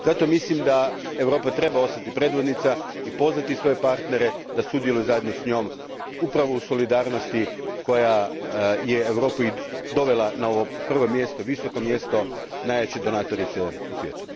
Zato mislim da Europa treba ostati predvodnica i pozvati svoje partnere da sudjeluju zajedno s njom upravo u solidarnosti koja je Europu i dovela na prvo mjesto, visoko mjesto, najveće donatorice u svijetu.